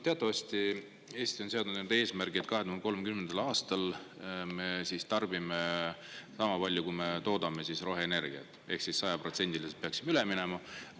Teatavasti Eesti on seadnud eesmärgi, et 2030. aastal me tarbime sama palju, kui me toodame roheenergiat, ehk sajaprotsendiliselt peaksime üle minema.